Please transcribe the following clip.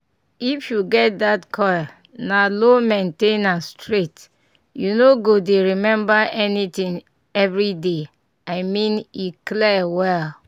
if you get that coil na low main ten ance straight — you no go dey remember anything every day i mean e clear well